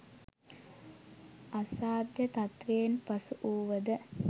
අසාධ්‍ය තත්ත්වයෙන් පසු වුවද